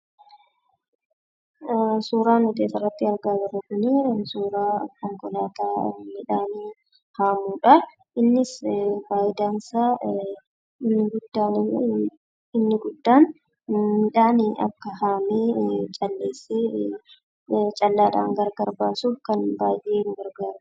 Suuraan nuti asirratti argaa jirru kunii, suuraa konkolaataa midhaan haamuudhaa. Innis faayidaansaa inni guddaaniifi inniguddaan; midhaan haamee calleessee, callaadhaan gargar baasuuf kan baayyee nu gargaarudha.